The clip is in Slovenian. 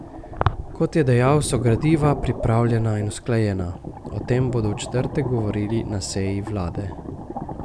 Kot je dejal, so gradiva pripravljena in usklajena, o tem bodo v četrtek govorili na seji vlade.